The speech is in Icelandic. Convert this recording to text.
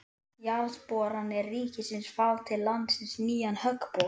Jarðboranir ríkisins fá til landsins nýjan höggbor